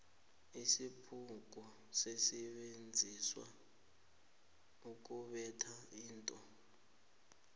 isibhuku sisebenziswa ukubetha into